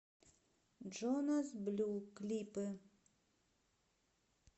джонас блю клипы